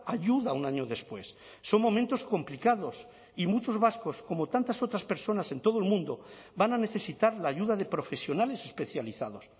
ayuda un año después son momentos complicados y muchos vascos como tantas otras personas en todo el mundo van a necesitar la ayuda de profesionales especializados